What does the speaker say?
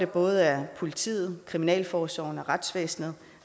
både af politiet kriminalforsorgen og retsvæsenet